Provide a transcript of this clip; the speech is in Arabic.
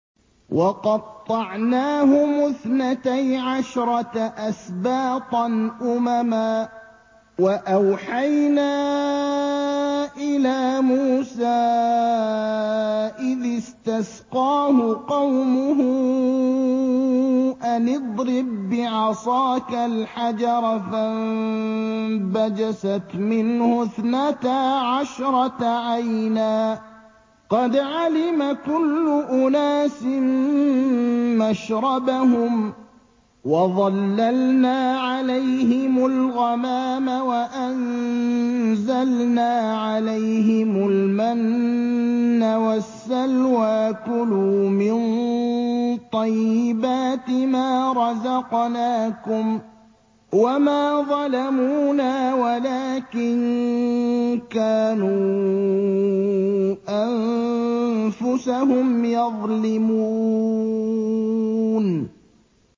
وَقَطَّعْنَاهُمُ اثْنَتَيْ عَشْرَةَ أَسْبَاطًا أُمَمًا ۚ وَأَوْحَيْنَا إِلَىٰ مُوسَىٰ إِذِ اسْتَسْقَاهُ قَوْمُهُ أَنِ اضْرِب بِّعَصَاكَ الْحَجَرَ ۖ فَانبَجَسَتْ مِنْهُ اثْنَتَا عَشْرَةَ عَيْنًا ۖ قَدْ عَلِمَ كُلُّ أُنَاسٍ مَّشْرَبَهُمْ ۚ وَظَلَّلْنَا عَلَيْهِمُ الْغَمَامَ وَأَنزَلْنَا عَلَيْهِمُ الْمَنَّ وَالسَّلْوَىٰ ۖ كُلُوا مِن طَيِّبَاتِ مَا رَزَقْنَاكُمْ ۚ وَمَا ظَلَمُونَا وَلَٰكِن كَانُوا أَنفُسَهُمْ يَظْلِمُونَ